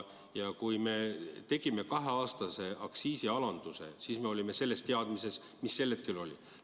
Kui me kaheaastase aktsiisialanduse tegime, siis tegime seda selle teadmisega, mis meil tol hetkel oli.